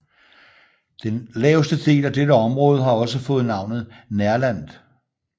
Den laveste del af dette område har også fået navnet Nerland